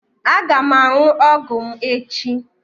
Aga m aṅụ ọgwụ m echi.